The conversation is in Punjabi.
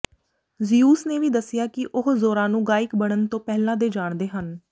ਜ਼ਿਉਸ ਨੇ ਵੀ ਦੱਸਿਆ ਕਿ ਉਹ ਜ਼ੋਰਾ ਨੂੰ ਗਾਇਕ ਬਣਨ ਤੋਂ ਪਹਿਲਾਂ ਦੇ ਜਾਣਦੇ ਹਨ